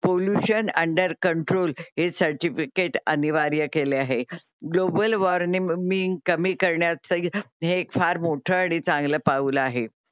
Pollution under control under control हे certificate अनिवार्य केले आहे. Global warming global warming